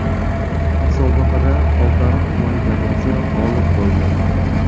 Musobaqada Oltiariq tumani jamoasi g‘olib bo‘ldi.